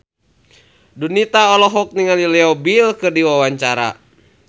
Donita olohok ningali Leo Bill keur diwawancara